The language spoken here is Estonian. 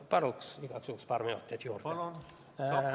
Palun igaks juhuks paar minutit juurde!